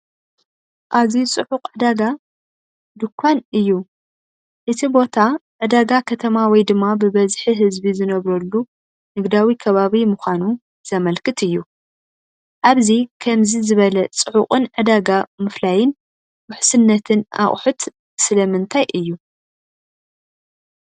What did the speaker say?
ኣዝዩ ጽዑቕ ዕዳጋ (ድኳን) እዩ። እቲ ቦታ ዕዳጋ ከተማ ወይ ድማ ብብዝሒ ህዝቢ ዝነብረሉ ንግዳዊ ከባቢ ምዃኑ ዘመልክት እዩ። ኣብዚ ከምዚ ዝበለ ጽዑቕን ዕዳጋ ምፍላይን ውሕስነትን ኣቑሑት ስለምንታይ እዩ?